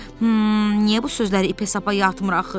Hım, niyə bu sözləri ipə sapa yatmır axı?